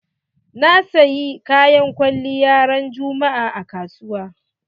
Na siyi Kayan kwaliya ran juma'a a kasuwa.